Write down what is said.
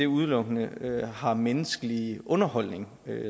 udelukkende har menneskelig underholdning